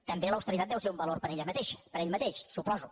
també l’austeritat deu ser un valor per ella mateixa ho suposo